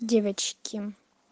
девочки